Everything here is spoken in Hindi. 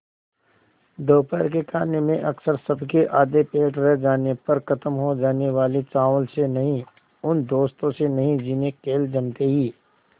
दोपहर के खाने में अक्सर सबके आधे पेट रह जाने पर ख़त्म हो जाने वाले चावल से नहीं उन दोस्तों से नहीं जिन्हें खेल जमते ही